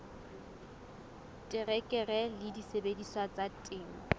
terekere le disebediswa tsa temo